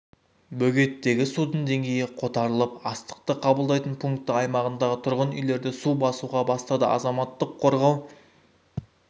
бөгеттегі судың деңгейі қотарылып астықты қабылдайтын пункті аймағындағы тұрғын үйлерді су басуға бастады азаматтық қорғау